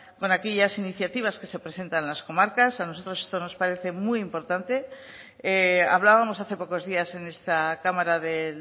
con aquellas iniciativas que se presentan en las comarcas a nosotros esto nos parece muy importante hablábamos hace pocos días en esta cámara de